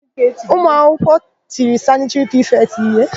Ụmụakwụkwọ tiri sanịtịrị prifetị ha íhé.